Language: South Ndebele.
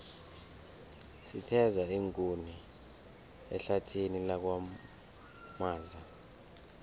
sitheza iinkuni ehlathini lakwamaza